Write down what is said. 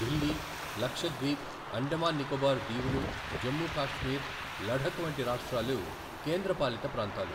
ఢిల్లీ, లక్షద్వీప్, అండమాన్ నికోబార్ దీవులు, జమ్ము కాశ్మీర్, లఢక్ వంటి రాష్ట్రాలు, కేంద్ర పాలిత ప్రాంతాలు,.